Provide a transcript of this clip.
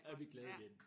Er vi glade igen